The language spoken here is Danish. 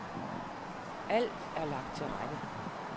Alt er lagt til rette.